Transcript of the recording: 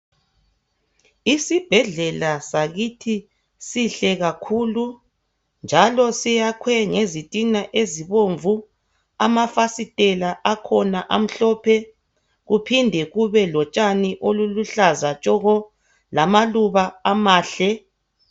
Isibhedlela sakithi sakhiwe kuhle kakhulu ngezitina ezibomnvu safakwa lamafasitela amhlophe nke siphinde sibe lotshani obuhlobisayo ngaphansi.